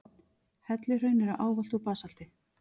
Helluhraun eru ávallt úr basalti.